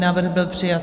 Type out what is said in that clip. Návrh byl přijat.